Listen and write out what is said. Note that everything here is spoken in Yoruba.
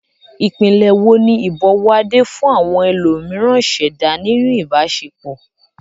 Ìpìlẹ̀ wo ni ìbọ̀wọ̀ Ade fún àwọn ẹlòmíràn ṣẹ̀dá nínú ìbáṣepọ̀?